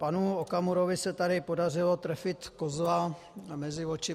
Panu Okamurovi se tady podařilo trefit kozla mezi oči.